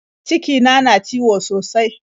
Cikina na ciwo sosai.